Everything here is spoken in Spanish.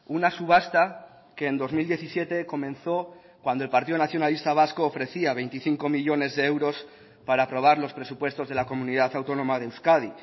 una subasta que en dos mil diecisiete comenzó cuando el partido nacionalista vasco ofrecía veinticinco millónes de euros para aprobar los presupuestos de la comunidad autónoma de euskadi